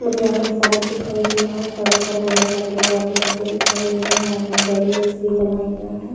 मुझे यहाँ पे सड़क दिखाई दे रहा है सड़क पर बहुत सारे लोग आते-जाते दिखाई दे रहे है यहाँ पर बैरियर्स भी बनाए गए है।